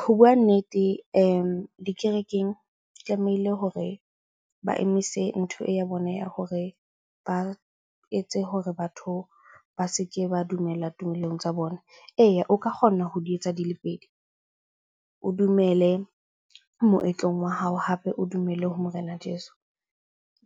Ho bua nnete dikerekeng tlamehile hore ba emise ntho ya bona ya hore ba etse hore batho ba se ke ba dumella tumelong tsa bona. Eya, o ka kgona ho di etsa dile pedi. O dumele moetlong wa hao hape o dumelle ho morena jeso.